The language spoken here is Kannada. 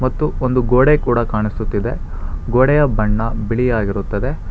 ಮತ್ತು ಒಂದು ಗೋಡೆ ಕೂಡ ಕಾಣಿಸುತ್ತಿದೆ ಗೋಡೆಯ ಬಣ್ಣ ಬಿಳಿ ಆಗಿರುತ್ತದೆ.